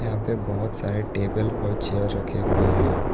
यहां पे बहुत सारे टेबल पर चेयर रखे हुए हैं।